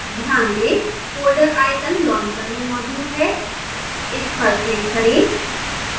ध्यान दें folder icon launcher में मौजूद है इस पर click करें